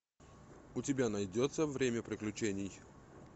у тебя найдется время приключений